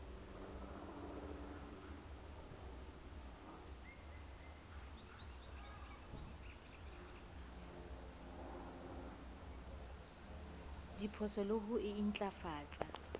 diphoso le ho e ntlafatsa